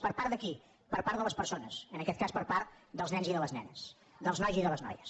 per part de qui per part de les persones en aquest cas per part dels nens i de les nenes dels nois i de les noies